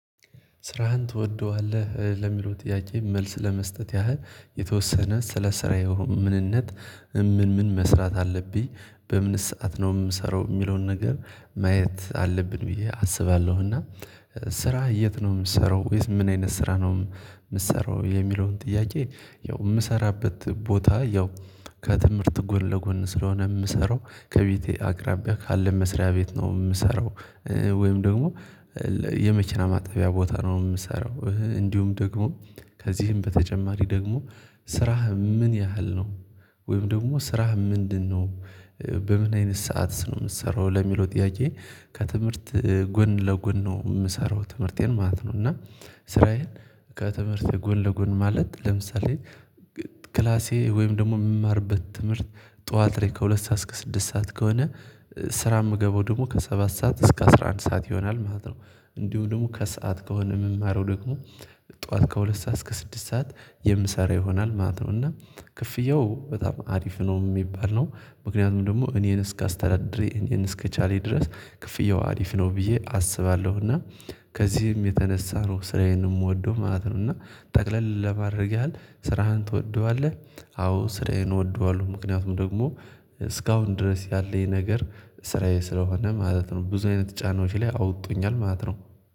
ስራህን ትወደዋለህ ለሚለው ጥያቄ መልስ ለመስጠት ያህል የተወሰነ ስለ ስራዬ ምንነት ምን ምን መስራት አለብኝ በምንስ ሰዓት ነው የምሰራው የሚለውን ነገር ማየት አለብን ብዬ አስባለሁ እና ስራ የት ነው የምትሰራው ወይስ ምን አይነት ስራ ነው የምትሰራው የሚለውን ጥያቄ? ያው የምሰራበት ቦታ ያው ከትምህርት ጎን ለጎን ስለሆነ የምሰራው ከቤቴ አቅራቢያ ካለ መስሪያ ቤት ነው የምሰራው። ወይም ደግሞ የመኪና ማጠቢያ ቦታ ነው የምሰራው እንዲሁም ደግሞ ከዚህም በተጨማሪ ደግሞ ስራህ ምን ያህል ነው ወይም ደግሞ ስራህ ምንድነው? በምን አይነት ሰዓትስ ነው የምትሰራው ለሚለው ጥያቄ? ከትምህርት ጎን ለጎን ነው የምሰራው ትምህርቴን ማለት ነው። እና ስራዬን ከትምህርት ጎን ለጎን ማለት ለምሳሌ ክላሴ ወይም ደግሞ የምማርበት ትምህርት ጠዋት ላይ ከሁለት ሰዓት እስከ ስድስት ሰዓት ከሆነ ስራ የምገባው ደግሞ ከሰባት ሰዓት እስከ አስራ አንድ ሰዓት ይሆናል ማለት ነው። እንዲሁ ደግሞ ከሰአት ከሆነ የምማረው ደግሞ ጠዋት ከሁለት ሰዓት እስከ ስድስት ሰዓት የምሰራ ይሆናል ማለት ነው። እና ክፍያው በጣም አሪፍ ነው የሚባል ነው ምክንያቱም ደግሞ እኔን እስካስተዳደረ እኔን እስከቻለ ድረስ ክፍያው አሪፍ ነው ብዬ አስባለሁ። እና ከዚህም የተነሳ ነው ስራዬን የምወደው ማለት ነው። እና ጠቅለል ለማድረግ ያህል ስራህን ትወደዋለህ? አዎ ስራዬን እወደዋለሁ። ምክንያቱም ደግሞ እስካሁን ድረስ ያለኝ ነገር ስራዬ ስለሆነ ማለት ነው። ብዙ አይነት ጫናዎች ላይ አውጥቶኛል ማለት ነው።